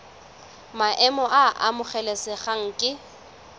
maemo a a amogelesegang ke